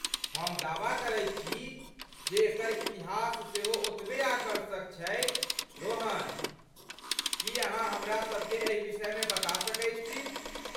हम दावा करैत छी जे एकर इतिहास सेहो ओतबे आकर्षक छैक , रोहन, की अहाँ हमरासभ केँ एहि विषयमे बता सकैत छी?